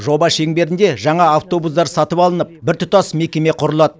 жоба шеңберінде жаңа автобустар сатып алынып біртұтас мекеме құрылады